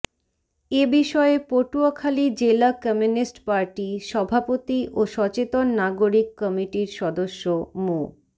এ বিষয়ে পটুয়াখালী জেলা communist party সভাপতি ও সচেতন নাগরিক কমিটির সদস্য মো